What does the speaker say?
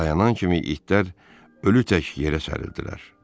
Dayanan kimi itlər ölü tək yerə sərildilər.